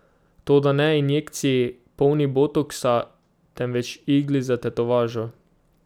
Toda ne injekciji, polni botoksa, temveč igli za tetovažo.